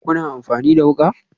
Kuna amfani da wuka?